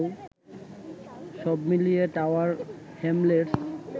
সব মিলিয়ে Tower Hamlets